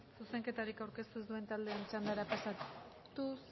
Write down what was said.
zuzenketarik aurkeztu ez duen taldeen txandara pasatuz